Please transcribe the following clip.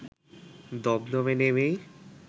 দমদমে নেমেই